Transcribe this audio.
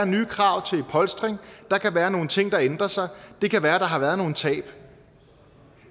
nye krav til polstring der kan være nogle ting der ændrer sig det kan være der har været nogle tab